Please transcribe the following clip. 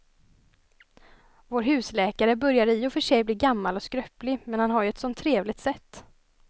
Vår husläkare börjar i och för sig bli gammal och skröplig, men han har ju ett sådant trevligt sätt!